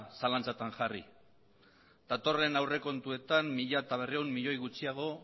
zalantzatan jarri datorren aurrekontuetan mila berrehun milioi gutxiago